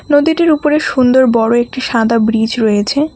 নদীটির উপরে সুন্দর বড় একটি সাদা ব্রীজ রয়েছে।